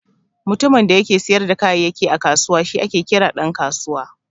Mutumin da yake siyar da kayayyaki a kusawa shi ake kira Dan kasuwa.